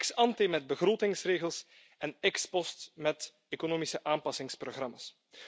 Ex ante met begrotingsregels en ex post met economische aanpassingsprogramma's.